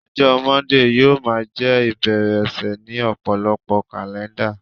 ọjọ Monday yíò ma je ibere ọsẹ ni ọpọlọpọ kalẹnda